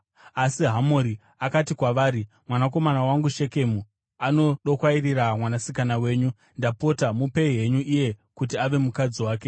Asi Hamori akati kwavari, “Mwanakomana wangu Shekemu anodokwairira mwanasikana wenyu. Ndapota mupei henyu iye kuti ave mukadzi wake.